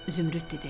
Zümrüd dedi.